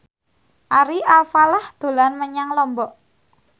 Ari Alfalah dolan menyang Lombok